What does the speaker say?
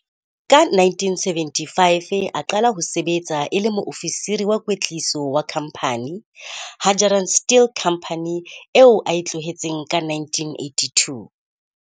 Ka 1975 a qala ho sebetsa e le Moofisiri wa Kwetliso wa Khamphane, Hadgerand Still Company eo a e tlohetseng ka 1982.